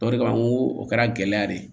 O de kama n ko o kɛra gɛlɛya de ye